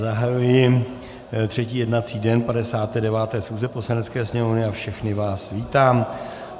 Zahajuji třetí jednací den 59. schůze Poslanecké sněmovny a všechny vás vítám.